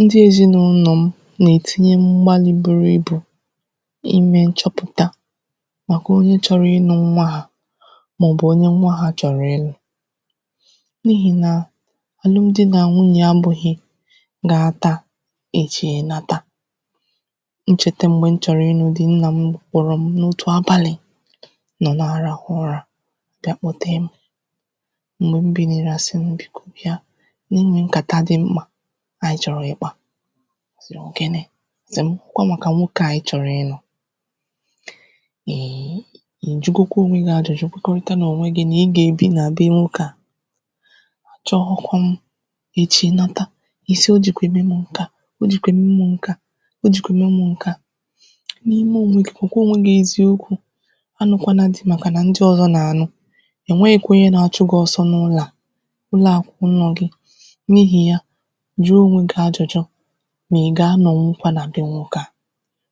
ndị èzinaụnọ̀ m nà-ètinye mbalị̄ buru ibù imē nchọpụ̀ta màkà onye chọrọ ịnụ̄ nwa ha màọbụ̀ onye nwa ha chọ̀rọ̀ ịlụ̄ n’ihì na àlụmdị nà nwunyè abụ̄ghị gaa taa echi ị̀nata m chète m̀gbè m chọrọ ịnụ̄ di nnà m kpọ̀rọ̀ m n’otù abàlị̀ m nọ̀ na-àrahụ ụrā bịa kpọte m m̀gbè m bìnìrì àsị m biko bịa nà e nwee nkàta dị mkpà ànyị chọ̀rọ̀ ịkpā si yā ọ̀ gini si m ọ kwa màkà nwokē a ị chọ̀rọ̀ ịnụ̄ ì jugokwa ònwe gi ajụ̀jụ kwekọrịta n’ònwe gin à ị gà-èbi nà be nwoke a chọghọ̄ kwu m echi ị̀nata ịsị o jìkwa ème m ǹke a o jìkwa ème m ǹke a ịsị o jìkwa ème m ǹke a n’ime ònwe gi gwàkwa ònwe gi eziokwū anụ̄kwana di màkànà ndị ọ̀zọ nà-ànụ ò nweghīkwa onye na-achụ gị oso n’ụlọ a ụlọ a bụkwà ụnọ̀ gi n’ihi ya jụ̀ọ ònwe gi ajụ̀jụ mà ị gà-anọ̀wụkwa nà be nwokē a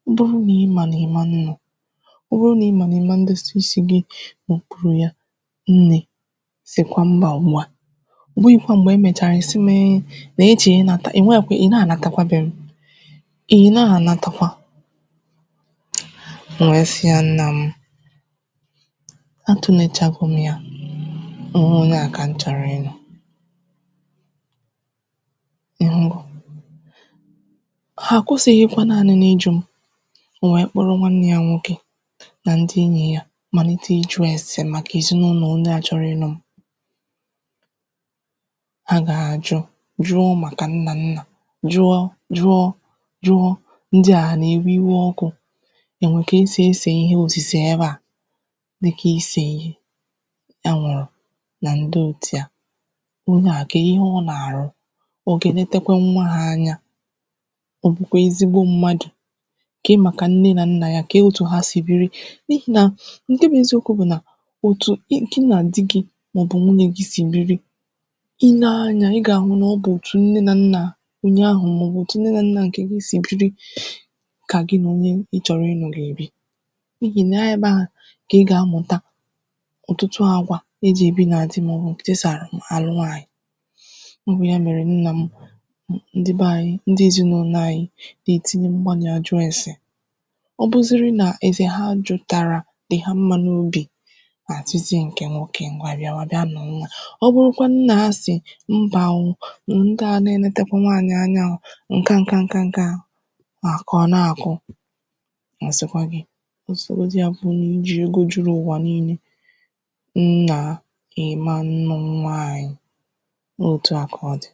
ọ bụrụ nà ịmà nà ị̀ ma nnọ̀ ọ bụrụ nà ị mà nà ị̀ ma ndosa isi gi n’òkpuru ya nne sìkwa mbà ùgbua ọ̀ bụghị̄kwa m̀gbè emèchàrà ìsi mi nà ị chọ̀rọ̀ ịnāta ò nwekwa ị̀ na ànataikwa be m ị̀ na ànataikwa m wee si ya nnà m atụ̄lechago m ya nà ọ wụ onye a kà m chọ̀rọ̀ ịnụ̄ ị̀hụgo hà àkwụsịghị̄kwa nanị nà ijū m o nwee onye kpọrọ nwanne ya nwokē nà ndị enyì ya màlịte ijū èsè màkà èzinaụnọ̀ onye a chọrọ ịnụ̄ m a gà-àjụ jụọ màkà nnà nnà jụọ jụọ jụọ ndị a ha nà-èwe iwe ọkụ è nwee ka esì ese ihe òsìse ebe a dịkà isè ihe anwụ̀rụ̀ nà ndị òtu ya onye a kee ihe ọ nà-arụ ọ gà-ènetekwa nwa ha anya ọ gà-ènetekwa nwa ha anya kee màkà nne na nna ya kee òtu ha sì biri n'ihi na ǹke bụ eziokwū bụ nà òtu ị ginà di gi màọbụ̀ nwunyè gi sì biri inee anya ịgà ahụ nà ọ bụ òtu nne nà nna onye ahụ̀ màọbụ̀ òtu nne na nnà ǹke gi si biri kà gin à onye ị chọ̀rọ̀ ịnụ̄ gà-èbi n’ihi nà ọ ebe ahụ̀ kà ị gà-amjụ̀ta ọ̀tụtụ àgwà ejì èbi na dị màọbụ̀ ètù esì àlụ nwaanyị̀ ọ bụ ya mèrè nna m ndị be ànyị ndị èzinaụnọ̀ anyị dà ètinye mgbàlị̀ àjụ èse ọ bụrụziri nà èfè ha ajuụ̄tàrà dì ha mmā n’obì àsịzie ǹkè nwoke ǹgwa bịawa bịa nụ̀wa ọ bụrụkwanụ nà asị mbà o ndịa a nā-ènetekwa nwaanyị̀ anya o ǹka ǹka ǹka nka o mà kà ọ na-àkụ ọ̀ sịkwa gi ọ sọgodu ya bụrụ nà o ji ego juru ụ̀wà niilē nnà ị̀ ma nnụ nwa ànyị ọ òtu a kà ọ dì